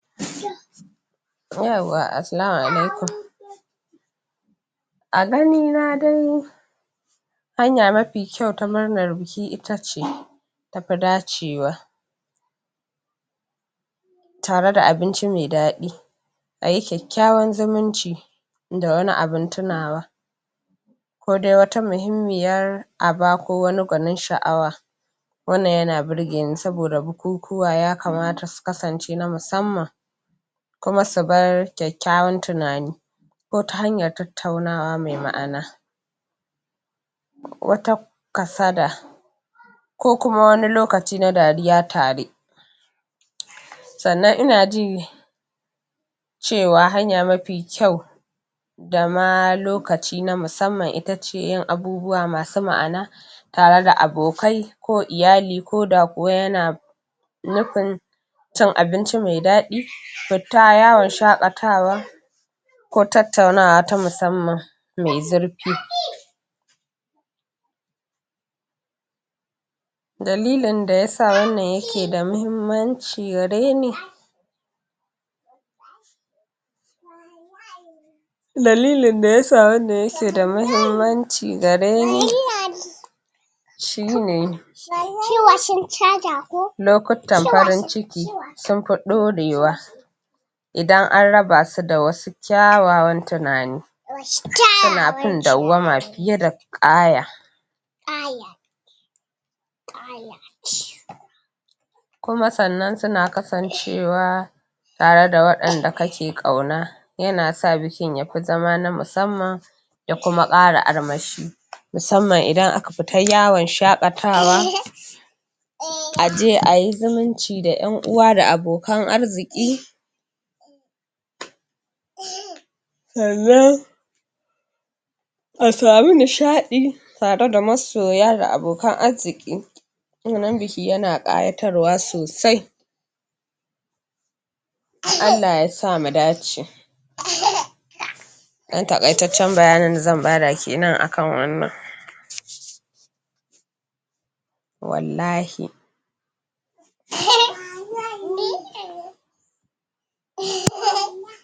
Yauwa assalamu alaikum, a ganina dai hanya mafi kyau ta murnar biki itace tafi dacewa, tareda abinci mai daɗi, ayi kyakkyawan zumunci, da wani abun tunawa kodai wata muhummiyar aba ko wani gwanin sha'awa wannan yana birgeni saboda bukukuwa ya kamata su kasance na musamman kuma subar kyakkyawan tunani ko ta hanyar tattaunawa mai ma'ana wata kasada ko kuma wani lokaci na dariya tare. Sannan inaji cewa hanya mafi kyau dama lokaci na musamman itace yin abubuwa masu ma'ana tare da abokai ko iyali koda kuwa yana nufin cin abinci mai daɗi fita yawon shaƙatawa ko tattaunawa ta musamman mai zurfi. Dalilin dayasa wannan yake da mahimmanci gareni dalilin dayasa wannan yake da mahimmanci gareni, shine shi washan caja ko lokuttan shi washan farin ciki sun fi dorewa idan an rabasu da wasu kyawawan tunani da washu kyawawan tunani suna fin dauwama fiye da ƙaaya, ƙaaya ƙaaya ce. Kuma sannan suna kasancewa tareda waɗanda kake ƙauna yanasa bikin yafi zama na musamman, ya kuma ƙara armashi. Musamman idan aka fita yawon shaƙatawa um aje ayi zumunci da ƴan uwa da abokan arziƙi um sannan a samu nishaɗi tareda masoya da abokan arziƙi wannan biki yana ƙayatarwa sosai. um Allah yasa mu dace. um ɗan taƙaitaccen bayanin da zan bada kenan akan wannan um wallahi um ni[um]